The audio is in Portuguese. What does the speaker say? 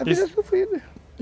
A vida sofrida.